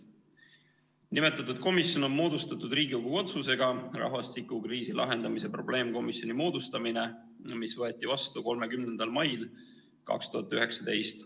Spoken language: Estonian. Nimetatud komisjon on moodustatud Riigikogu otsusega "Rahvastikukriisi lahendamise probleemkomisjoni moodustamine", mis võeti vastu 30. mail 2019.